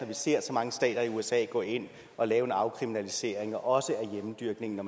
vi ser så mange stater i usa gå ind og lave en afkriminalisering af også hjemmedyrkning og